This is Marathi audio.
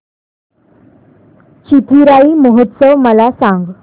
चिथिराई महोत्सव मला सांग